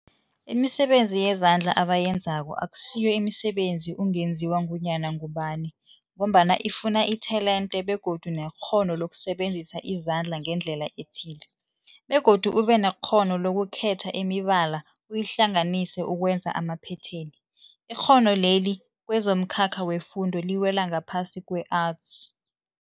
Imisebenzi yezandla abayenzako akusiyo imisebenzi ungenziwa ngunyana ngubani mgombana ifuna itelente begodu nekghono lokusebenzisa izandla ngendlela ethile, begodu ubenekghono lokukhetha imibala uyihlanganise ukwenza amaphetheni. Ikghono leli kwezomkhakha wefundo liwela ngaphasi kwe-Arts.